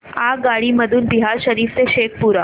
आगगाडी मधून बिहार शरीफ ते शेखपुरा